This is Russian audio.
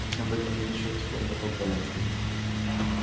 об этом мы ещё успеем потолковать